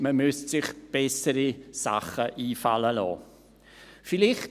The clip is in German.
Man müsste sich bessere Sachen einfallen lassen.